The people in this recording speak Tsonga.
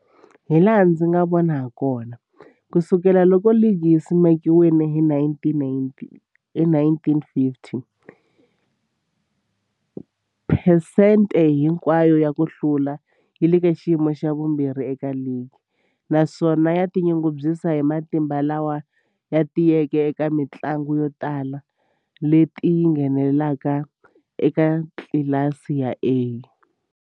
Hilaha ndzi nga vona hakona, ku sukela loko ligi yi simekiwile, hi 1950, phesente hinkwayo ya ku hlula yi le ka xiyimo xa vumbirhi eka ligi, naswona yi tinyungubyisa hi matimba lama tiyeke eka tinguva to tala leti yi ngheneke eka tlilasi ya A.